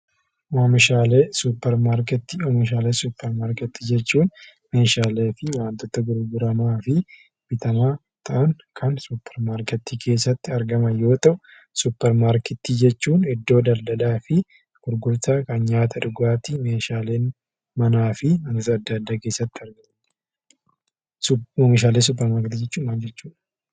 Oomishaalee supermarketii. Oomishaalee supermarketii jechuun meeshaalee fi wantoota gurguramaa fi bitamaa ta'an kan supermarketii keessatti argaman yoo ta'u; supermarketii jechuun iddoo daldalaa fi gurgurtaa kan nyaata dhugaatii meeshaalee manaa fi wantoota addaa addaa keessatti argamu. Oomishaalee supermarketii jechuun maal jechuudha?